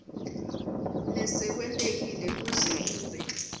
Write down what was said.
lesekwentekile kuze kube